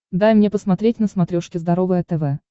дай мне посмотреть на смотрешке здоровое тв